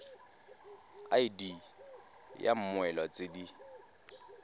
id ya mmoelwa tse di